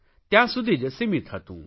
ત્યાં સુધી જ સીમિત હતું